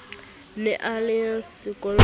ne a na le sekola